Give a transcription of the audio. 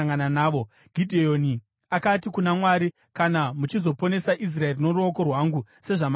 Gidheoni akati kuna Mwari, “Kana muchizoponesa Israeri noruoko rwangu sezvamakavimbisa,